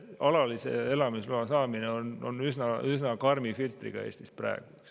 Alalise elamisloa saamine on praegu üsna karmi filtriga.